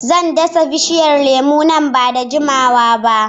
Zan dasa bishiyar lemu nan ba da jimawa ba